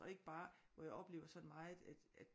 Og ikke bare hvor jeg oplever sådan meget